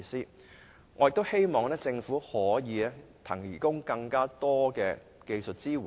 在這方面，第一，希望政府能為他們提供更多技術支援。